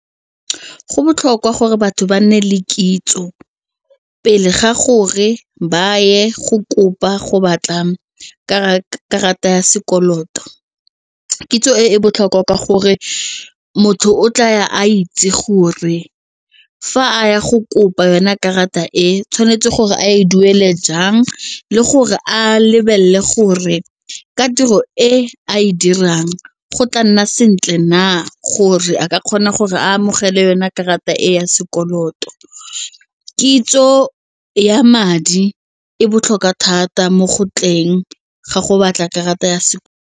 Go botlhokwa gore batho ba nne le kitso pele ga gore ba ye go kopa go batla karata ya sekoloto. Kitso e e botlhokwa ka gore motho o tla ya a itse gore fa a ya go kopa yona karata e tshwanetse gore a e duele jang le gore a lebelele gore ka tiro e a e dirang go tla nna sentle na gore a ka kgona gore a amogele yone karata e ya sekoloto, kitso ya madi e botlhokwa thata mo gotleng ga go batla karata ya se.